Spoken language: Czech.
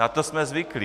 Na to jsme zvyklí.